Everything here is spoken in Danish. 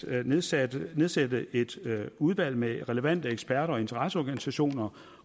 at nedsætte nedsætte et udvalg med relevante eksperter og interesseorganisationer